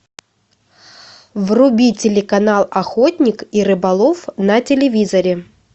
вруби телеканал охотник и рыболов на телевизоре